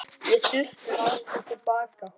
Við þurftum aðstoð til baka.